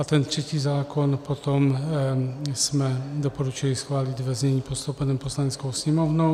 A ten třetí zákon potom jsme doporučili schválit ve znění postoupeném Poslaneckou sněmovnou.